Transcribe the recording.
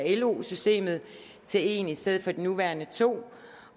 lo systemet til en i stedet for de nuværende to